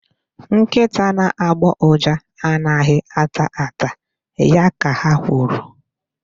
Nkịta na-agbọ uja anaghị ata ata. Ya ka ha kwuru.